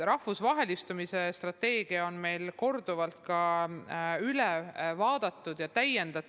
Rahvusvahelistumise strateegiat on meil korduvalt üle vaadatud ja täiendatud.